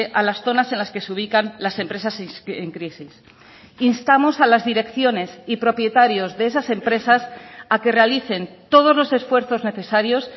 a las zonas en las que se ubican las empresas en crisis instamos a las direcciones y propietarios de esas empresas a que realicen todos los esfuerzos necesarios